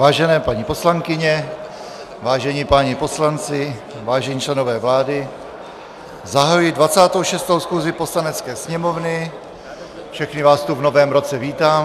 Vážené paní poslankyně, vážení páni poslanci, vážení členové vlády, zahajuji 26. schůzi Poslanecké sněmovny, všechny vás tu v novém roce vítám.